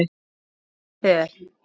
Hún var föl.